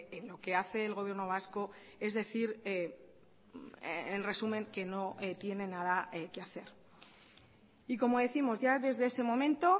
en lo que hace el gobierno vasco es decir en resumen que no tiene nada que hacer y como décimos ya desde ese momento